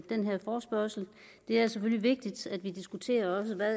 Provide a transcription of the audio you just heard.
den her forespørgsel det er selvfølgelig vigtigt at vi også diskuterer